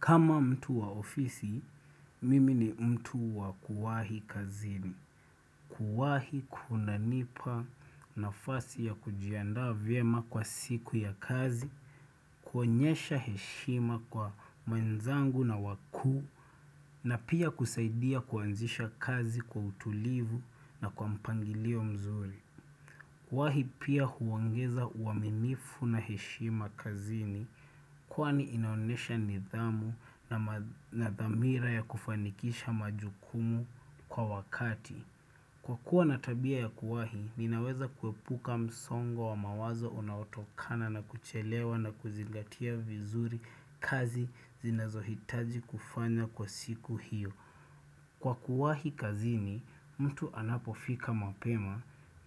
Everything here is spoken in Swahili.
Kama mtu wa ofisi, mimi ni mtu wa kuwahi kazini. Kuwahi kuna nipa nafasi ya kujiandaa vyema kwa siku ya kazi, kuonyesha heshima kwa wenzangu na wakuu, na pia kusaidia kuanzisha kazi kwa utulivu na kwa mpangilio mzuri. Kuwahi pia huongeza uaminifu na heshima kazini, Kwani inaonyesha nidhamu na dhamira ya kufanikisha majukumu kwa wakati. Kwa kuwa ninatabia ya kuwahi, ninaweza kuepuka msongo wa mawazo unaotokana na kuchelewa na kuzigatia vizuri kazi zinazohitaji kufanywa kwa siku hiyo. Kwa kuwahi kazini mtu anapofika mapema